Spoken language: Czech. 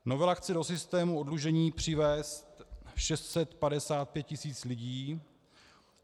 Novela chce do systému oddlužení přivést 655 tisíc lidí.